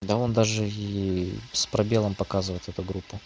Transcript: да он даже и с пробелом показывает эту группу